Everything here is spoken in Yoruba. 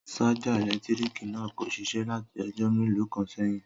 Sájà èlétírìkì náà kò ṣiṣé láti ọjọ́ mélòó kan sẹ́yìn